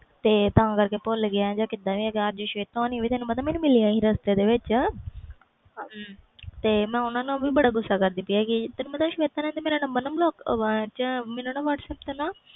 ਤੇ ਤਾ ਕਰਕੇ ਭੁੱਲ ਗਏ ਅਜ ਸ਼ਵੇਤਾ ਹੁਣੀ ਵੀ ਮਿਲਿਆ ਸੀ ਰਸਤੇ ਦੇ ਵਿੱਚ ਤੇ ਮੈਂ ਓਹਨਾ ਨਾਲ ਵੀ ਬੜਾ ਗੁੱਸਾ ਕਰਦੀ ਪਈ ਸੀ ਤੈਨੂੰ ਪਤਾ ਸ਼ਵੇਤਾ ਨੇ ਮੇਰਾ ਨੂੰ ਨੰਬਰ block ਚ whatsaap